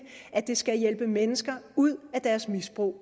at det skal hjælpe mennesker ud af deres misbrug